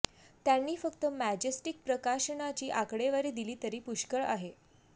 त्यांनी फक्त मॅजेस्टिक प्रकाशनाची आकडेवारी दिली तरी पुष्कळ आहे